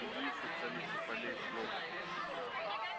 впереди ещё царица полей плов